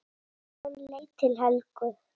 Hann leit til Helgu.